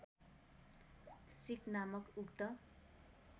सिक नामक उक्त